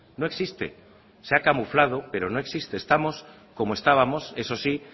no existe se ha camuflado pero no existe estamos como estábamos eso sí